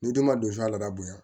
N'i den ma don suya la a bonya